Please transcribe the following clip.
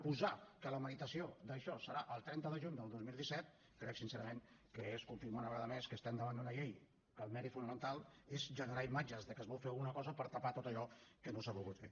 posar que la meritació d’això serà el trenta de juny del dos mil disset crec sincerament que és confirmar una vegada més que estem davant d’una llei que el mèrit fonamental és generar imatges de que es vol fer alguna cosa per tapar tot allò que no s’ha volgut fer